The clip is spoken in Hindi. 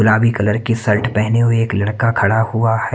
रामे कलर का शर्ट पहने हुए एक लड़का खड़ा हुआ हैं।